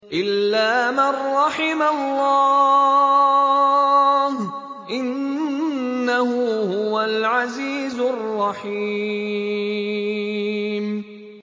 إِلَّا مَن رَّحِمَ اللَّهُ ۚ إِنَّهُ هُوَ الْعَزِيزُ الرَّحِيمُ